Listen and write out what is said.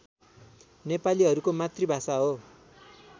नेपालीहरूको मातृभाषा हो